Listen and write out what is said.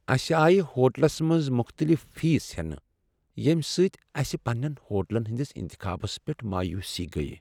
اسہ آیہ ہوٹلس منٛز مختلف فیس ہینہٕ، ییٚمہ سۭتۍ اسہِ پننین ہوٹلن ہنٛدس انتخابس پیٹھ مایوسی گیہ ۔